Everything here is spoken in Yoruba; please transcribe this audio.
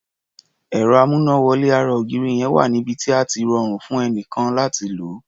Ẹ̀rọ amúnáwọlé ara ògiri yẹn wà níbi tí á ti rọrùn fún ẹnikẹ́ni láti lò ó.